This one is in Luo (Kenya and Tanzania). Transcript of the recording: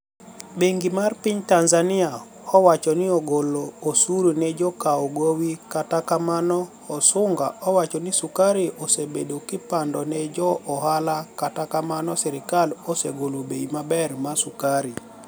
Benigi mar piniy Tanizaniia owachonii ogol osuru ni e jo kaw gowi kata kamano Hasuniga owacho nii sukari osebedi kipanido ni e jo ohala kata kamano sirkal osegolo bei maber ma sukari.